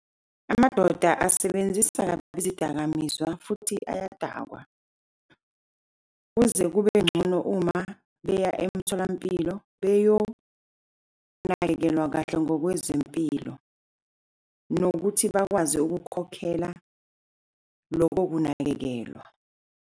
Amadoda asebenzisa kabi izidakamizwa futhi ayadakwa. Kuze kube bengcono uma beya emtholampilo, beyokunakekelwa kahle ngokwezempilo, nokuthi bakwazi ukukhokhela loko kunakekelwa.